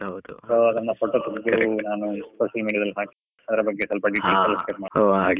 So ನಮ್ಮ photo ತೆಗ್ದು social media ದಲ್ಲಿ ಹಾಕಿ ಅದ್ರ ಬಗ್ಗೆ ಸ್ವಲ್ಪ details .